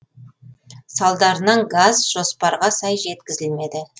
салдарынан газ жоспарға сай жеткізілмеді